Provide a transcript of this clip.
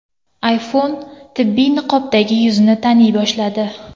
iPhone tibbiy niqobdagi yuzni taniy boshladi.